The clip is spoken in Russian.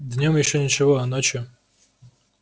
днём ещё ничего а ночью